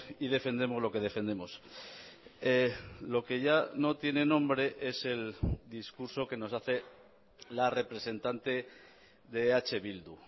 y defendemos lo que defendemos lo que ya no tiene nombre es el discurso que nos hace la representante de eh bildu